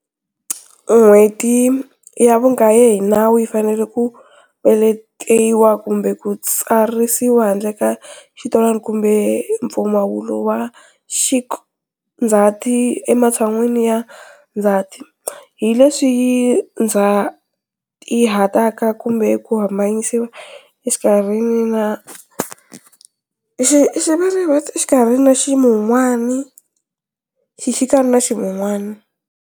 N'hweti ya vukaye hi nawu yi fanele ku peletiwa kumbe ku twarisiwa handle ka xitwalana kumbe mpfumawulo wa xik-Ndzati ematshan'wini ya ndzhati, hi leswi yi ndzatihataka kumbe ku hambinyisa exikarhini na xixikana na ximun'wana.